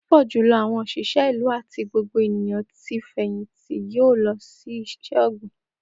Pupọ julọ awọn oṣiṣẹ ilu ati ti gbogbo eniyan ti fẹyìntì yoo lọ si iṣẹ-ogbin.